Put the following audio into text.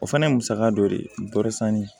O fana ye musaka dɔ de ye dɔsannin